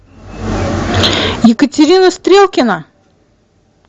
екатерина стрелкина